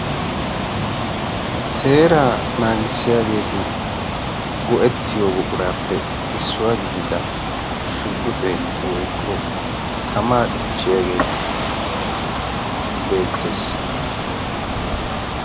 seeraa naagissiyaageeti go'ettiyo boquraappe issuwaa gidida shugguxe woikko tamaa cuchchiyaagee beettees